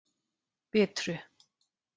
Bitru